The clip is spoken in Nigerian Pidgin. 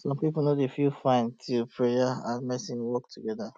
some people no dey feel fine till prayer um and medicine work together